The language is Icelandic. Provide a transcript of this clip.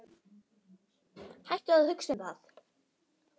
Hættu að hugsa um það.